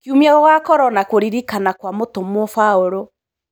Kĩumia gũgakoro na kũririkana kwa mũtumwo baũlũ.